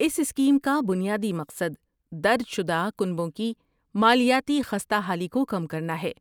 اس scheme کا بنیادی مقصد درج شدہ کنبوں کی مالیاتی خستہ حالی کو کم کرنا ہے۔